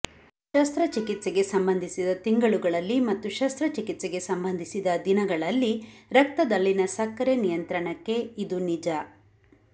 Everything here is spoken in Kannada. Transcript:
ಶಸ್ತ್ರಚಿಕಿತ್ಸೆಗೆ ಸಂಬಂಧಿಸಿದ ತಿಂಗಳುಗಳಲ್ಲಿ ಮತ್ತು ಶಸ್ತ್ರಚಿಕಿತ್ಸೆಗೆ ಸಂಬಂಧಿಸಿದ ದಿನಗಳಲ್ಲಿ ರಕ್ತದಲ್ಲಿನ ಸಕ್ಕರೆ ನಿಯಂತ್ರಣಕ್ಕೆ ಇದು ನಿಜ